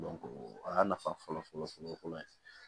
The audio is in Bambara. o y'a nafa fɔlɔ fɔlɔ fɔlɔ fɔlɔ ye